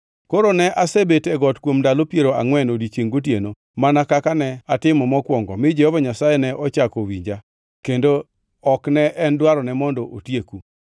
Koro ne asebet e got kuom ndalo piero angʼwen odiechiengʼ gotieno mana kaka ne atimo mokwongo mi Jehova Nyasaye ne ochako owinja kendo ok ne en dwarone mondo otieku.